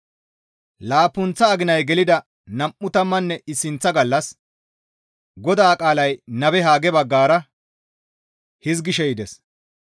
Laappunththa aginay gelida nam7u tammanne issinththa gallas GODAA qaalay nabe Hagge baggara hizgishe yides.